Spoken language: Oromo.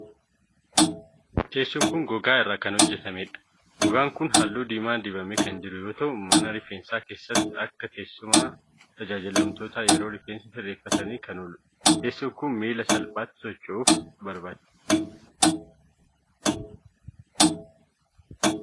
Teessoon kun, gogaa irraa kan hojjatamee dha. Gogaan kun halluu diimaa dibamee kan jiru yoo ta'u. Mana rifeensaa keessatti akka teessuma tajaajilamtootaa yeroo rifeensa sirreefatanii kan oolu dha. Teessoon kun miila salphaatti sosochuusuuf barbaachisu qaba.